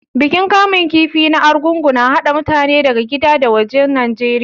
Bikin kamun kifi na Arugungu na haɗa mutane daga gida da wajen Najeriya.